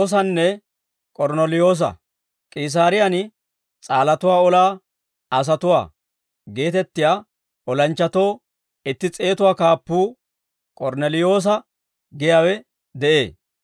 K'iisaariyaan «S'aalatuwaa Olaa asatuwaa» geetettiyaa olanchchatoo itti s'eetatuwaa kaappuu K'ornneliyoosa giyaawe de'ee.